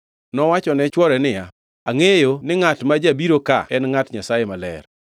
Nowachone chwore niya, “Angʼeyo ni ngʼat ma jabiro ka en ngʼat Nyasaye maler.